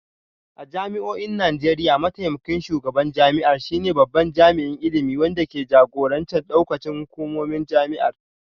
A jami'o'in Najeriya, mataimakin shugaban jami'ar shine babban jami'in ilimi wanda ke jagorantar daukacin hukumomin jami'ar